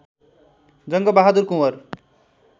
Jang Bahadur Kunwar